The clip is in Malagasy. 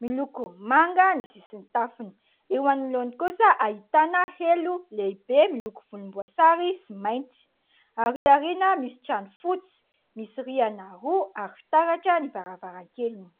Miloko manga ny sisin'ny tafony, eo anoloany kosa ahitana helo lehibe miloko volomboasary sy mainty. Arỳ aoriana misy trano fotsy, misy rihana roa ary fitaratra ny varavarankeliny.